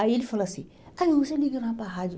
Aí ele falou assim, aí você liga na rádio.